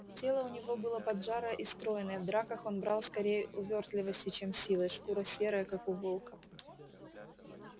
тело у него было поджарое и стройное в драках он брал скорее увёртливостью чем силой шкура серая как у волка